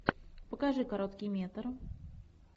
покажи короткий метр